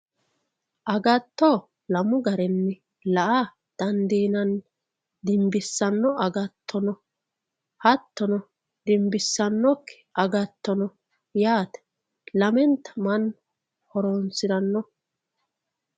agatto lamu garinni la''a dandiinanni dimbisanno agatto no hattono dimbissannokki agatto no yaate lamenta mannu horonsiranno.